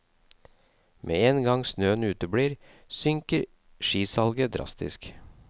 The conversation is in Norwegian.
Med en gang snøen uteblir, synker skisalget drastisk.